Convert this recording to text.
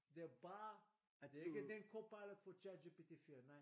Det er bare det er ikke den Copilot for ChatGPT 4 nej